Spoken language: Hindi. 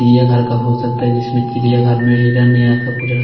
यह घर का हो सकता है जिसमें चिड़ियाघर में हिरन यह सब कुछ रह--